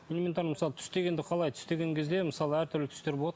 элементарно мысалы түс дегенде қалай түс деген кезде мысалы әртүрлі түстер болады